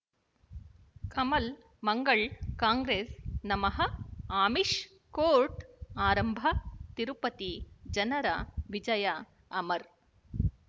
ಕಮಲ್ ಮಂಗಳ್ ಕಾಂಗ್ರೆಸ್ ನಮಃ ಅಮಿಷ್ ಕೋರ್ಟ್ ಆರಂಭ ತಿರುಪತಿ ಜನರ ವಿಜಯ ಅಮರ್